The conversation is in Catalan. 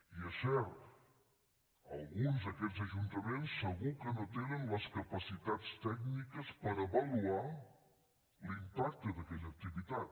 i és cert alguns d’aquests ajuntaments segur que no tenen les capacitats tècniques per avaluar l’impacte d’aquella activitat